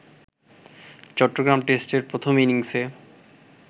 চট্টগ্রাম টেস্টের প্রথম ইনিংসে